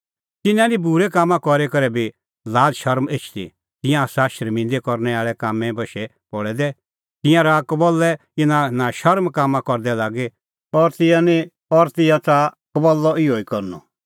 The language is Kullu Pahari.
तिन्नां निं बूरै काम करी करै बी लाज़शरम एछदी तिंयां आसा शर्मिंदै करनै आल़ै कामें बशै पल़ै दै तिंयां रहा कबल्लै इना नशर्म कामां करदै लागी और तिंयां निं और तिंयां च़ाहा कबल्लअ इहअ ई करनअ